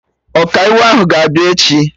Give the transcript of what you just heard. Ọkaiwu ahụ ga-abịa echi